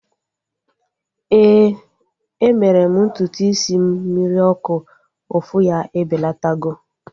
Éè, e mere m ntutu isi m mmiri ọkụ. Ụfụ ya ebelatago